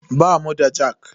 Bamu da jak.